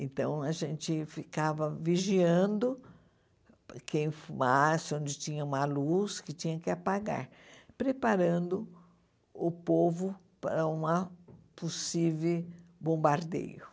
Então, a gente ficava vigiando quem fumasse, onde tinha uma luz que tinha que apagar, preparando o povo para uma possível bombardeio.